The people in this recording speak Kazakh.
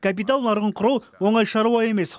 капитал нарығын құру оңай шаруа емес